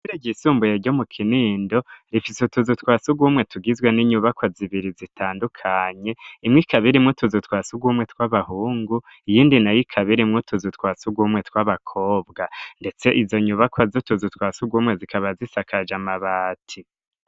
Ishure ryisumbuye ryo mu Kinindo rifise utuzu twasugumwe tugizwe n'inyubakwa zibiri zitandukanye imwe ikaba irimwo utuzu twasugumwe tw'abahungu iyindi nayo ikaba irimwo utuzu twasugumwe tw'abakobwa ndetse izo nyubakwa z'utuzu twasugumwe zikaba zisakaja amabati.